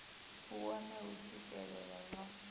u wohe u swikelele hoea